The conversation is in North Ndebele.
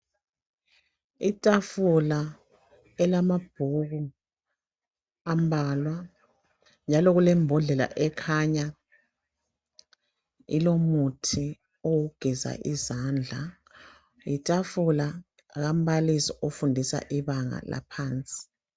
Itafula elamabhuku ambalwa njalo kulembodlela ekhanya ilomuthi wokugeza izandla letafula kambalisi ofundisa ibanga eliphansi.